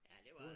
Ja det var det